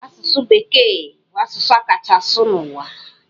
Asụsụ bekee bụ asụsụ a kachaa asụ n'ụwa.